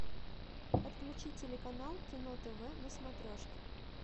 подключи телеканал кино тв на смотрешке